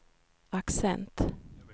accent